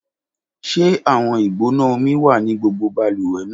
Ṣe awọn igbona omi wa ni gbogbo baluwe naa?